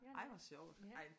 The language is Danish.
Ja det er jeg ja